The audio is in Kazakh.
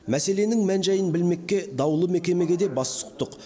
мәселенің мән жайын білмекке даулы мекемеге де бас сұқтық